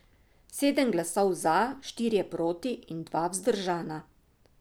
Sedem glasov za, štirje proti in dva vzdržana.